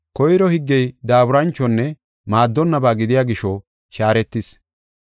Koyro higgey daaburanchonne maaddonnaba gidiya gisho shaaretis.